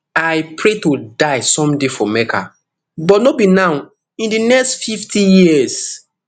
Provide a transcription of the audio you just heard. i pray to die someday for mecca but no be now in di next fifty years